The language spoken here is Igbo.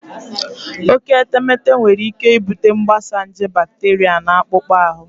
Oke etemeete nwere ike ibute mgbasa nje bakteria na akpụkpọ ahụ.